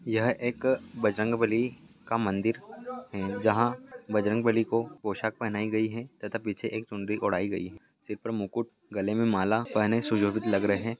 यह एक बजरंग बली का मंदिर है जहां बजरंग बली को पोशाक पहनाई गई है तथा पीछे एक चुनरी ओढ़ायी गई है सिर पर मुकुट गले में माला पहने सुजोभित लग रहे हैं।